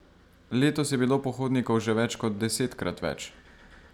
Letos je bilo pohodnikov že več kot desetkrat več.